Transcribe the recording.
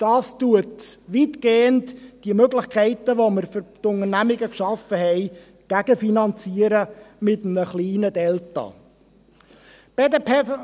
Dies wird weitgehend die Möglichkeiten, welche wir für die Unternehmungen geschaffen haben, mit einem kleinen «Delta» gegenfinanzieren.